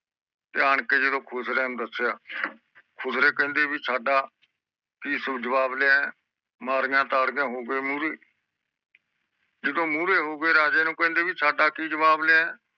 ਤੇ ਆਂ ਕੇ ਜਿਦੋ ਖੁਸਰਿਆਂ ਨੂੰ ਦੱਸਿਆ ਖੁਸਰੇ ਕਹਿੰਦੇ ਬੀ ਸਾਡਾ ਕਿ ਤੂੰ ਜਵਾਬ ਲਿਆਯਾ ਮਾਰਿਆ ਤਾੜੀਆਂ ਤੇ ਹੋਗਏ ਮੂਹਰੇ ਜਿਦੋ ਮੂਹਰੇ ਹੋਗਏ ਤੇ ਰਾਜੇ ਨੂੰ ਕਹਿੰਦੇ ਕਿ ਸਾਡਾ ਕਿ ਜਵਾਬ ਲਿਆਯਾ